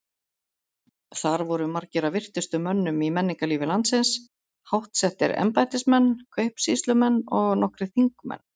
Þar voru margir af virtustu mönnum í menningarlífi landsins, háttsettir embættismenn, kaupsýslumenn og nokkrir þingmenn.